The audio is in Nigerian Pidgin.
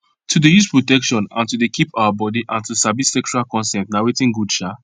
to dey use protection and to dey keep our body and to sabi sexual consent na watin good um